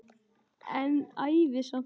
En ævi samt.